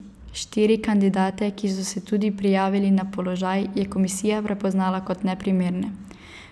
Štiri kandidate, ki so se tudi prijavili na položaj, je komisija prepoznala kot neprimerne.